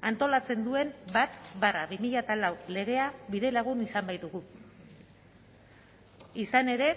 antolatzen duen bat barra bi mila lau legea bidelagun izan baitugu izan ere